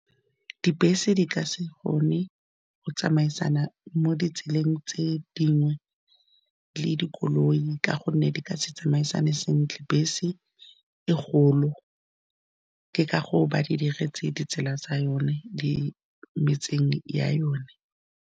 Dibese di ka se kgone go tsamaisana mo ditseleng tse dingwe le dikoloi, ka gonne di ka se tsamaisane sentle. Bese e kgolo ke ka gore ba di diretse ditsela tsa yone, di metseng ya yone.